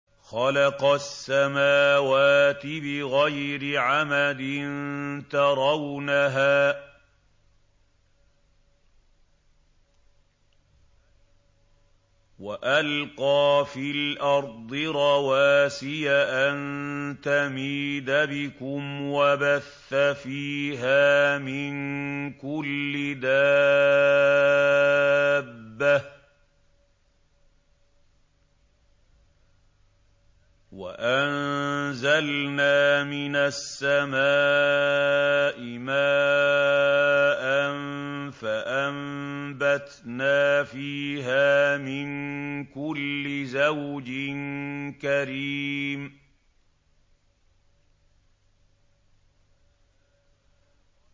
خَلَقَ السَّمَاوَاتِ بِغَيْرِ عَمَدٍ تَرَوْنَهَا ۖ وَأَلْقَىٰ فِي الْأَرْضِ رَوَاسِيَ أَن تَمِيدَ بِكُمْ وَبَثَّ فِيهَا مِن كُلِّ دَابَّةٍ ۚ وَأَنزَلْنَا مِنَ السَّمَاءِ مَاءً فَأَنبَتْنَا فِيهَا مِن كُلِّ زَوْجٍ كَرِيمٍ